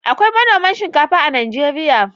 Akwai manoman shinkafa a Najeriya.